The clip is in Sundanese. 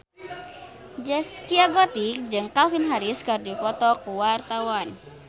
Zaskia Gotik jeung Calvin Harris keur dipoto ku wartawan